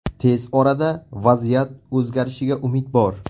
Tez orada vaziyat o‘zgarishiga umid bor.